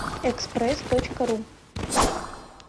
экспресс точка ру